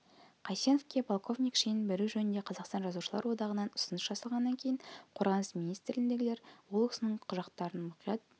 қайсеновке полковник шенін беру жөнінде қазақстан жазушылар одағынан ұсыныс жасалғаннан кейін қорғаныс министрлігіндегілер ол кісінің құжаттарын мұқият